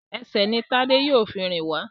Ẹsẹ̀ ní Tade yíò fún rìn wá